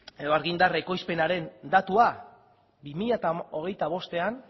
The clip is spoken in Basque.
edo argindar ekoizpenaren datua bi mila hogeita bostean